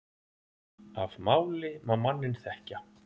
Af máli má manninn þekkja.